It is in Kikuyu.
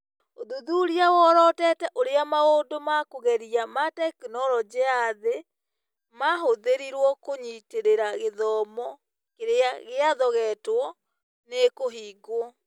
ũthuthuria worotete ũrĩa maũndũ ma kũgeria ma tekinoronjĩ ya thĩĩ mahũthĩrirwo kũnyitĩrira gĩthomo kĩrĩa gĩathogetwo nĩ kũhingwo.